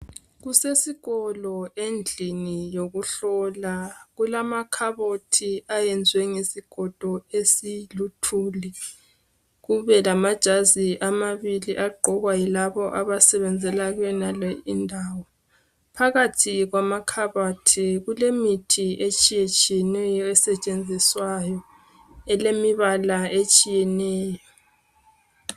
Kusesikolo endlini yokuhlola. Kulamakhabothi ayenziwe ngezigodo esiluthuli. Kubelamajazi amabili, agqokwa yilabo, abasebenzela kuyonale indawo. Phakathi kwamakhabothi, kulemithi etshiyetshiyeneyo esetshenziswayo. Elemibala etshiyeneyo.